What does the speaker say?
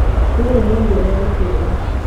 Rũrũ nĩ ruo rwa gũtũra.